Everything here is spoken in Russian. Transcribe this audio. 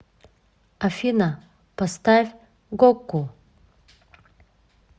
афина поставь гоку